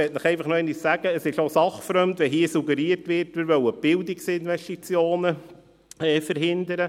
Ich möchte Ihnen einfach nochmals sagen, dass es sachfremd ist, wenn hier suggeriert wird, wir wollten die Bildungsinvestitionen verhindern.